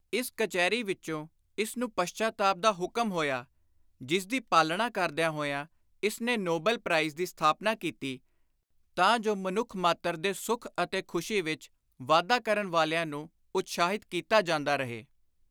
ਇਸ ਕਚਹਿਰੀ ਵਿਚੋਂ ਇਸ ਨੂੰ ਪਸ਼ਚਾਤਾਪ ਦਾ ਹੁਕਮ ਹੋਇਆ, ਜਿਸਦੀ ਪਾਲਣਾ ਕਰਦਿਆਂ ਹੋਇਆਂ ਇਸਨੇ ਨੋਬਲ ਪ੍ਰਾਈਜ਼ (Nobel Prize) ਦੀ ਸਥਾਪਨਾ ਕੀਤੀ ਤਾਂ ਜੁ ਮਨੁੱਖ ਮਾਤਰ ਦੇ ਸੁਖ ਅਤੇ ਖ਼ੁਸ਼ੀ ਵਿਚ ਵਾਧਾ ਕਰਨ ਵਾਲਿਆਂ ਨੂੰ ਉਤਸ਼ਾਹਿਤ ਕੀਤਾ ਜਾਂਦਾ ਰਹੇ।